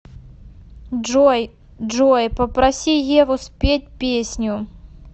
джой джой попроси еву спеть песню